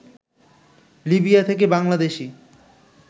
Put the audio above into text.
Libya থেকে বাংলাদেশি